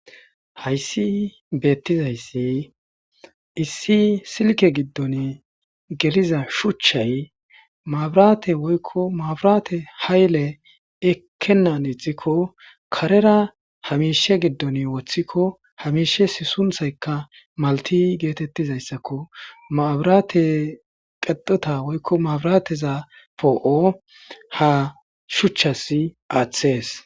Hayssi beettizayssi issi silke giddon geliza shuchchay marate oko maaburate hayle ekennan ixikko karera hamiishe giddon woththikko hamiishe si sunthaykka malti geetettizayssakko maaburate qexota woykko maabirateza poo'o ha shuchchasi aaththees.